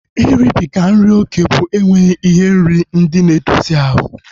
Iribiga nri oké bụ enweghị ihe nri ndị na-edozi ahu